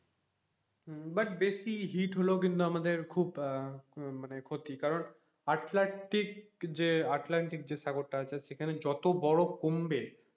হম but বেশি heat হলেও কিন্তু আমাদের আহ খুব মানে খুব ক্ষতি কারণ আটলান্টিক যে আটলান্টিক যে সাগরটা আছে সেখানে যত বরফ কমবে,